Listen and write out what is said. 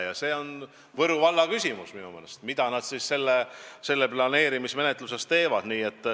Aga see on minu meelest Võru valla küsimus, mida nad selles planeerimismenetluses teevad.